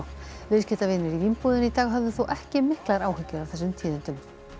viðskiptavinir í Vínbúðinni í dag höfðu þó ekki miklar áhyggjur af þessum tíðindum